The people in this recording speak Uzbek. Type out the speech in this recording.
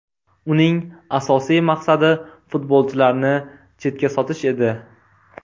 Uning asosiy maqsadi futbolchilarni chetga sotish edi.